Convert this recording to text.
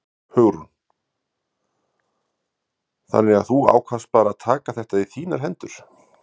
Hugrún: Þannig að þú ákvaðst bara að taka þetta í þínar hendur?